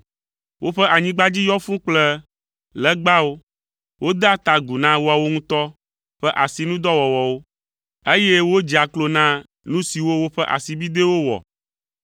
Woƒe anyigba dzi yɔ fũu kple legbawo, wodea ta agu na woawo ŋutɔ ƒe asinudɔwɔwɔwo, eye wodzea klo na nu siwo woƒe asibidɛwo wɔ,